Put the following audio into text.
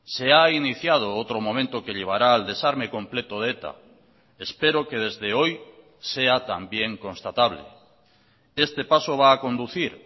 se ha iniciado otro momento que llevará al desarme completo de eta espero que desde hoy sea también constatable este paso va a conducir